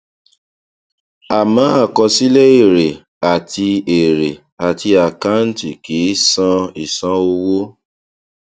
àmọ àkọsílẹ èrè àti èrè àti àkàǹtì kì í sọ ìṣàn owó